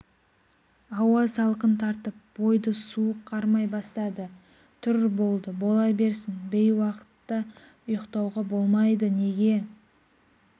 ауа салқын тартып бойды суық қармай бастады тұр болды бола берсін бейуақта ұйықтауға болмайды неге